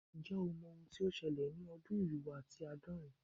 Nje o mo ohun to sele ni odun irinwo ati aadorin